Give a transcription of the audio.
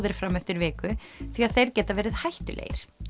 er fram eftir viku því að þeir geta verið hættulegir